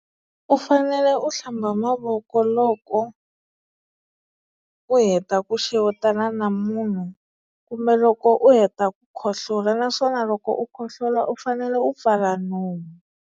U fanele u hlamba mavoko loko u heta ku xewetana na munhu kumbe loko u heta ku khohlola naswona loko u khohlola u fanele u pfala nomu.